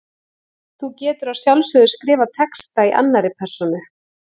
Þú getur að sjálfsögðu skrifað texta í annarri persónu.